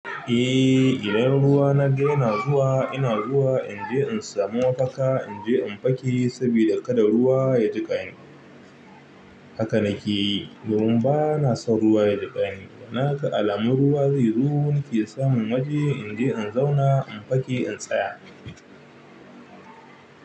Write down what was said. Eh, idan ruwa na ga yana zuwa ina zuwa in je in samu mafaka in je in fake sabida kada ruwa ya jiƙa ni. Haka na ke yi. Domin bana son ruwa ya jiƙa ni. Na ga alamun ruwa zai zo, nake samun waje in je in zauna in fake in tsaya.